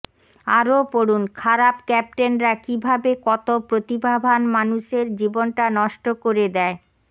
আরও পড়ুন খারাপ ক্যাপ্টেনরা কীভাবে কত প্রতিভাবান মানুষের জীবনটা নষ্ট করে দেয়